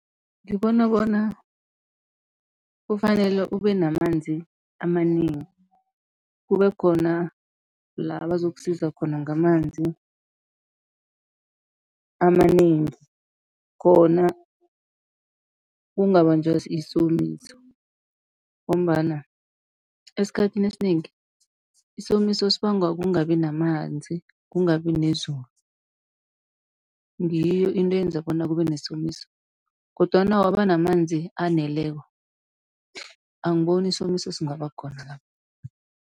Ngibona bona kufanele ube namanzi amanengi, kube khona la bazokusiza khona ngamanzi amanengi khona ungabanjwa isomiso. Ngombana esikhathini esinengi isomiso sibangwa kungabi namanzi kungabi nezulu. Ngiyo into eyenza bona kube nesomiso kodwana waba namanzi aneleko, angiboni isomiso singaba khona lapho.